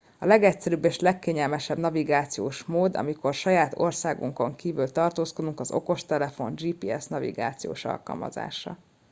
a legegyszerűbb és legkényelmesebb navigációs mód amikor saját országunkon kívül tartózkodunk az okostelefon gps nagivációs alkalmazása